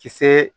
Kisɛ